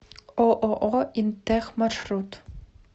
ооо интех маршрут